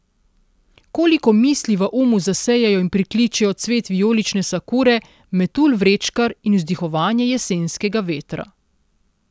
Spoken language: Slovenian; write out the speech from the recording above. Koliko misli v umu zasejejo in prikličejo cvet vijolične sakure, metulj vrečkar in vzdihovanje jesenskega vetra.